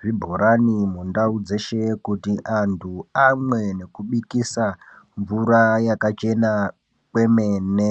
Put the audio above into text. zvibhorani mundau dzeshe kuti antu amwe nekubikisa mvura yakachena kwemene.